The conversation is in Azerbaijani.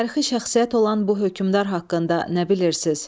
Tarixi şəxsiyyət olan bu hökmdar haqqında nə bilirsiz?